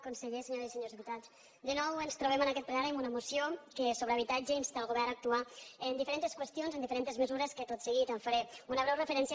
conseller senyores i senyors diputats de nou ens trobem en aquest plenari amb una moció que sobre habitatge insta el govern a actuar en diferents qüestions en diferents mesures a les quals tot seguit faré una breu referència